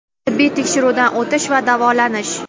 tibbiy tekshiruvdan o‘tish va davolanish;.